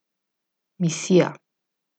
Misija.